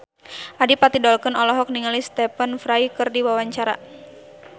Adipati Dolken olohok ningali Stephen Fry keur diwawancara